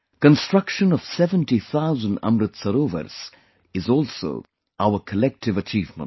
Construction of 70 thousand Amrit Sarovars is also our collective achievement